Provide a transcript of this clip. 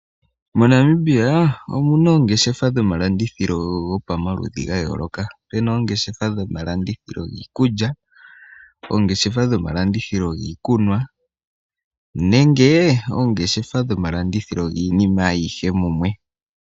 MoNamibia omuna oongeshefa dhomalandithilo gopamaludhi ngayoloka, Pena oongeshefa dhomalandithilo ngiikulya, oongeshefa dhomalandithilo ngiikunwa nenge oongeshefa dhomalandithilo ngiinima ayihe mumwe.